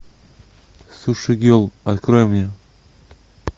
суши герл открой мне